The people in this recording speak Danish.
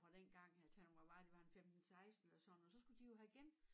Fra dengang at han var bare det var en 15 16 eller sådan noget så skulle de jo have gen